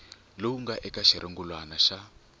lowu nga eka xirungulwana xa